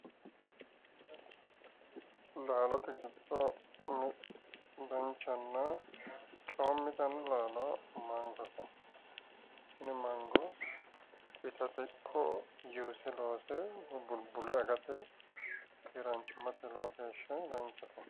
Laalote giddo danchanna coommitanno laalo mangote. Tini mango itate ikko juuse loose woyi bulbule agate keeraanchimmate lowo geeshsha danchate.